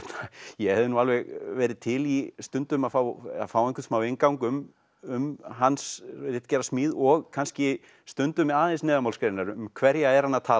ég hefði nú alveg verið til í stundum að fá fá smá inngang um um hans ritgerðasmíð og kannski stundum aðeins neðanmálsgreinar um hverja er hann að tala